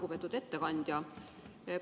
Lugupeetud ettekandja!